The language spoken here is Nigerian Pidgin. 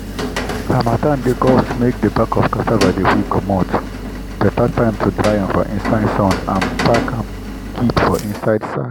harmattan dey cause make the back of cassava dey quick commot—better time to dry am for inside sun and pack am keep for inside sack.